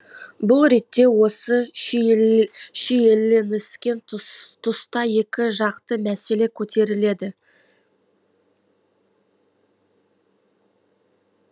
бұл ретте осы шиелініскен тұста екі жақты мәселе көтеріледі